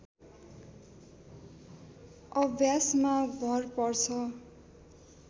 अभ्यासमा भर पर्छ